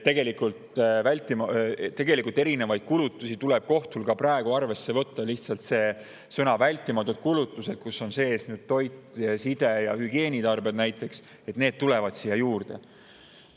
Tegelikult erinevaid kulutusi tuleb kohtul ka praegu arvesse võtta, lihtsalt sõnad "vältimatud kulutused" – näiteks toidule ning side- ja hügieenitarvetele – tulevad juurde.